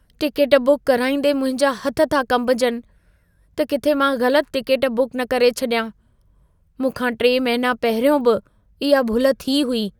Ticket book कराईंदे मुंहिंजा हथ था कंबजनि, त किथे मां ग़लत टिकेट बुक न करे छॾियां। मूं खां 3 महिना पहिरियों बि इहा भुल थी हुई।